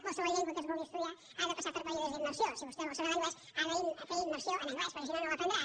qualsevol llengua que es vulgui estudiar ha de passar per períodes d’immersió si vostè vol saber l’anglès ha de fer immersió en anglès perquè si no no l’aprendrà